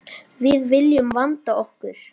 Við viljum vanda okkur.